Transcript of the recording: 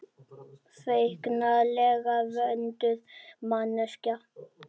Feiknalega vönduð manneskja.